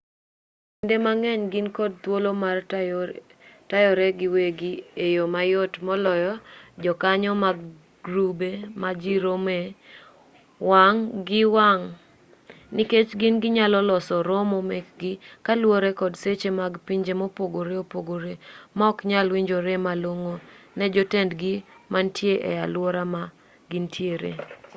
kwom kinde mang'eny gin kod thuolo mar tayore giwegi e yo mayot moloyo jokanyo mag grube ma ji romoe wang' gi wang' nikech gin ginyalo loso romo mekgi kaluwore kod seche mag pinje mopogore opogore maoknyal winjore malong'o ne jotendgi manitie e aluora ma gintiere